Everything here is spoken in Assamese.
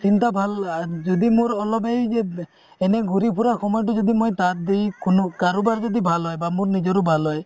চিন্তা ভাল যদি মোৰ অলপ এই যে এনে ঘুৰি ফুৰা সময়টো যদি মই তাত দি শুনো কাৰোবাৰ যদি ভাল হয় বা মোৰ নিজৰো ভাল হয়